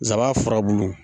zaban furabulu